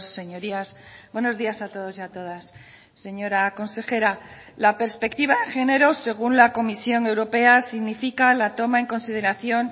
señorías buenos días a todos y a todas señora consejera la perspectiva de géneros según la comisión europea significa la toma en consideración